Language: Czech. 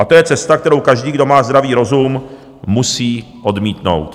A to je cesta, kterou každý, kdo má zdravý rozum, musí odmítnout.